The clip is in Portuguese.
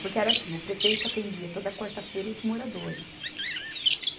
Porque era assim, o prefeito atendia toda quarta-feira os moradores.